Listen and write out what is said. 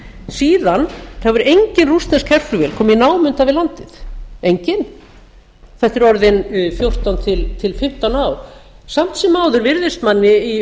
síðan hefur engin rússnesk herflugvél komið í námunda við landið engin þetta er orðin fjórtán til fimmtán ár samt sem áður virðist manni í